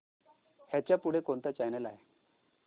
ह्याच्या पुढे कोणता चॅनल आहे